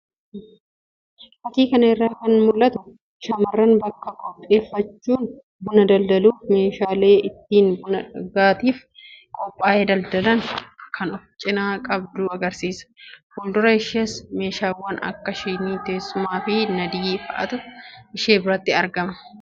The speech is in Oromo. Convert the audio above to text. Fakkii kana irraa kan mul'atu shamarran bakka qopheeffachuun buna daldaluuf meeshaalee ittiin buna dhugaatiif qophaa'e daldalan kan of cinaa qabdu agarsiisa. Fuuldura ishees meeshaawwan akka shinii, teessummaa fi naddii fa'aatu ishee biratti argama.